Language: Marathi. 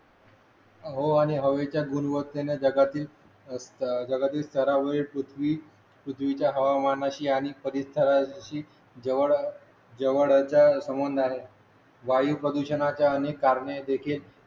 हो आणि हवेच्या गुणवत्तेणे जगातील अ जगातील स्तरावर पृथ्वी पृथ्वीच्या हवामानाशी आणि परिसराशी जवळ जवळचा संबंध आहे वायु प्रदूषणाच्या अनेक कारणे देखील